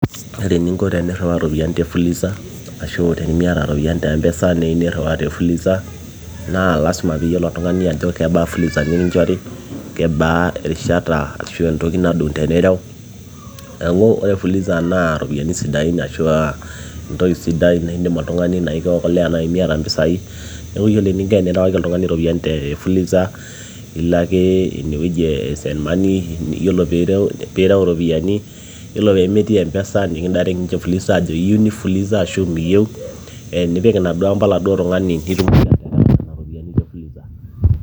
ore eninko tenirriwaa iropiyiani te fuliza ashu tenimiata iropiani te mpesa niu nirriwaa te fuliza naa lasima piiyiolo oltung'ani ajo kebaa fuliza nikinchori kebaa erishata ashu entoki nadung tenirew neeku ore fuliza naa iropiani siidain ashua entoki sidai naindim oltung'ani naikiokolea naaji miata mpisai neeku yiolo eninko enirewaki oltung'ani te fuliza ilo ake inewueji e send money yiolo piirew iropiyiani yiolo pemetii mpesa nikindairek ninche fuliza ajo iyieu nifuliza ashu miyieu ee nipik inaduo amba oladuo tung'ani nitumoki aterewa nena ropiyiani te fuliza.